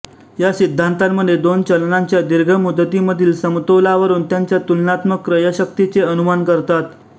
या सिद्धांतामध्ये दोन चलनांच्या दीर्घ मुदतीमधील समतोलावरून त्यांच्या तुलनात्मक क्रयशक्तीचे अनुमान करतात